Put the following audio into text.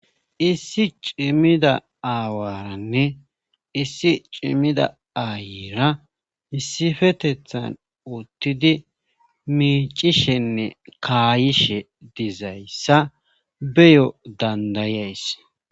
issi cimmida aawaranne issi cimida aayiira isifetethan uttidi miicishenne kaayishe dizayssa beyo dandayays